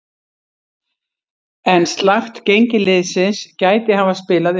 En slakt gengi liðsins gæti hafa spilað inn í.